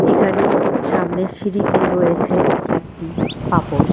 এখানে সামনের সিঁড়িতে রয়েছে একটি পাপোশ।